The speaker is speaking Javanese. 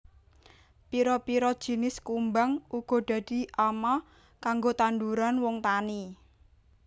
Pira pira jinis kumbang uga dadi ama kanggo tanduran wong tani